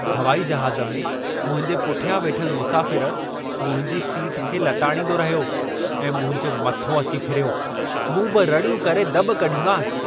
हवाई जहाज़ में, मुंहिंजे पुठियां वेठलु मुसाफ़िर मुंहिंजी सीट खे लताड़ींदो रहियो ऐं मुंहिंजो मथो अची फिरियो। मूं बि रड़ियूं करे दॿ कढीमांसि।